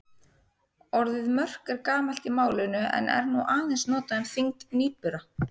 Orðið mörk er gamalt í málinu en er nú aðeins notað um þyngd nýbura.